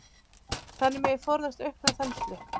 Þannig megi forðast aukna þenslu.